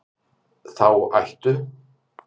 Þá ættu